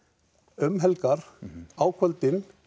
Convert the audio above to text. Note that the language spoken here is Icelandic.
um helgar á kvöldin